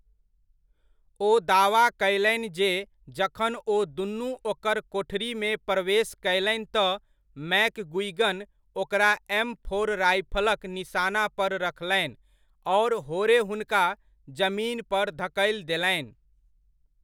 ओ दावा कयलनि जे जखन ओ दुनु ओकर कोठरीमे प्रवेश कयलनि तँ मैकगुइगन ओकरा एम फोर राइफलक निशाना पर रखलनि आओर होरे हुनका जमीन पर धकलि देलनि।